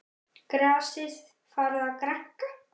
Grasið farið að grænka?